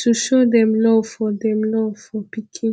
to show dem love for dem love for pikin